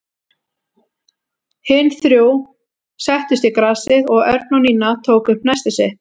Hin þrjú settust í grasið og Örn og Nína tóku upp nestið sitt.